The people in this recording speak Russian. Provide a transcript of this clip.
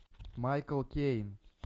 майкл кейн